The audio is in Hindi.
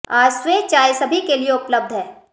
आज स्वे चाय सभी के लिए उपलब्ध है